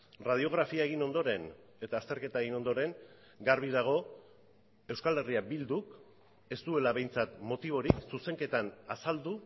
erradiografia egin ondoren eta azterketa egin ondoren garbi dago euskal herria bilduk ez duela behintzat motiborik zuzenketan azaldu